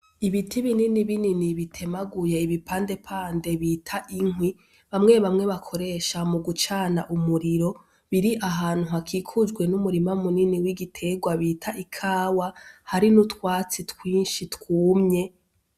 Ibiti binini binini bitemaguye ibipandepande bita ikwi; bamwe bamwe bakoresha mu gucana umuriro. Biri ahantu hakikujwe n'umurima munini w'igiterwa bita ikawa. Hari n'utwatsi twinshi twumye.